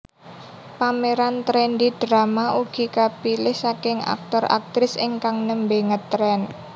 Pemeran trendy drama ugi kapilih saking aktor aktris ingkang nembe ngetren